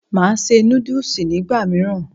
Màá se núdùs nígbà mìíràn